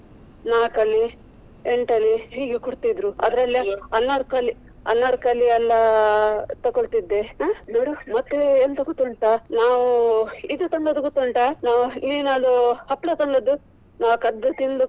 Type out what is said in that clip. ನಾಲ್ಕ್ ಆಣೆ ಎಂಟು ಆಣೆ ಹೀಗೆ ಕೊಡ್ತಿದ್ರು ಅದ್ರಲ್ಲಿ ಅನಾರ್ಕಲಿ ಅನಾರ್ಕಲಿ ಎಲ್ಲಾ ತಕ್ಕೊಳ್ತಿದ್ದೆ. ಅಹ್ ನೋಡು ಮತ್ತೆ ಎಂತ ಗೊತ್ತುಂಟ ನಾವು ಇದು ತಂದದ್ದು ಗೊತ್ತುಂಟ ನಾವು ಏನ್ ಅದು ಹಪ್ಪಳ ತಂದದ್ದು ನಾವು ಕದ್ದು ತಿಂದು.